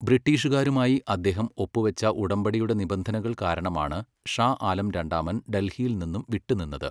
ബ്രിട്ടീഷുകാരുമായി അദ്ദേഹം ഒപ്പുവെച്ച ഉടമ്പടിയുടെ നിബന്ധനകൾ കാരണമാണ് ഷാ ആലം രണ്ടാമൻ ഡൽഹിയിൽ നിന്ന് വിട്ടുനിന്നത്.